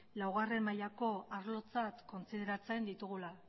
laugarren mailako arlotzat kontsideratzen ditugula